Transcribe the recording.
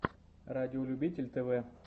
радиолюбитель тв